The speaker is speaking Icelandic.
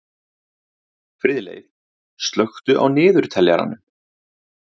Friðleif, slökktu á niðurteljaranum.